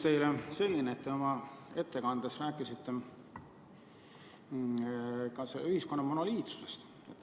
Te oma ettekandes rääkisite ühiskonna monoliitsusest.